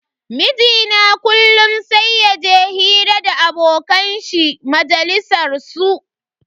Mijina kullum sai yaje hira da abokan shi majalisar su.